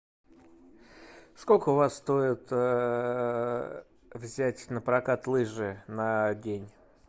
сколько у вас стоит взять на прокат лыжи на день